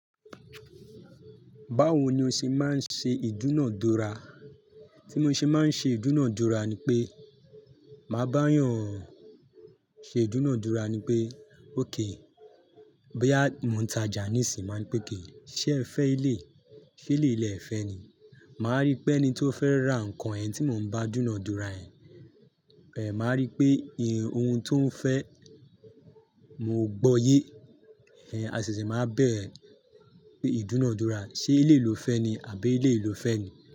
Báwo ni o ṣe máa ń ṣe ìdúnadúrà? Tí mo ṣe máa ń ṣe ìdúnadúra ni pé, màá bá'yàn ṣe ìdúnadúra ni pé, okay, bóyá mo ún tajà níìsín, máa ní pè okay, ṣé ẹ fẹ́ eléyìí, ṣé eléyìí lẹ ẹ̀ fẹ́ ni?" Màá rí pé ẹni tó fẹ́ ra nǹkan yẹn tí mò ń bá dúnadúrà ẹ̀, màá rí pé ohun tó ń fẹ́, mo gbọ́ọyé. Ẹhn, a ṣẹ̀ṣẹ̀ máa wá bẹ̀rẹ̀ ìdúnadúrà. Ṣé eléyìí lo fẹ́ ni àbí eléyìí lo fẹ́ ni?